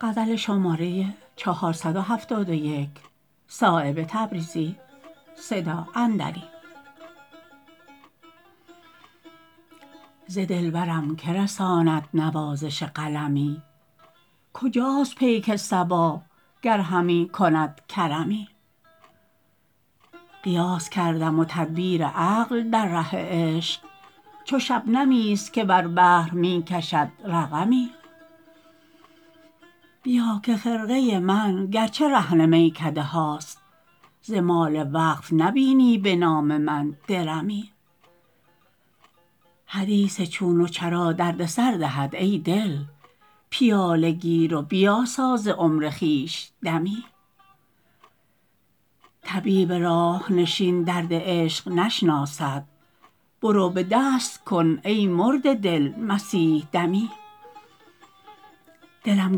ز دلبرم که رساند نوازش قلمی کجاست پیک صبا گر همی کند کرمی قیاس کردم و تدبیر عقل در ره عشق چو شبنمی است که بر بحر می کشد رقمی بیا که خرقه من گر چه رهن میکده هاست ز مال وقف نبینی به نام من درمی حدیث چون و چرا درد سر دهد ای دل پیاله گیر و بیاسا ز عمر خویش دمی طبیب راه نشین درد عشق نشناسد برو به دست کن ای مرده دل مسیح دمی دلم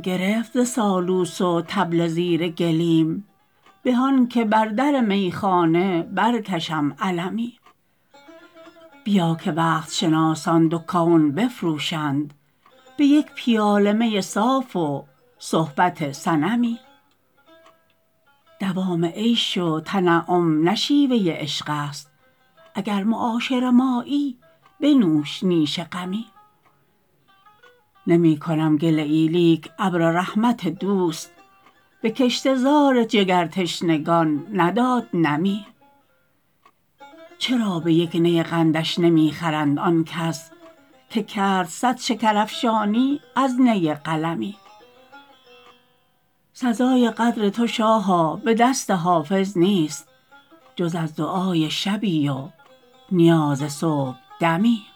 گرفت ز سالوس و طبل زیر گلیم به آن که بر در میخانه برکشم علمی بیا که وقت شناسان دو کون بفروشند به یک پیاله می صاف و صحبت صنمی دوام عیش و تنعم نه شیوه عشق است اگر معاشر مایی بنوش نیش غمی نمی کنم گله ای لیک ابر رحمت دوست به کشته زار جگرتشنگان نداد نمی چرا به یک نی قندش نمی خرند آن کس که کرد صد شکرافشانی از نی قلمی سزای قدر تو شاها به دست حافظ نیست جز از دعای شبی و نیاز صبحدمی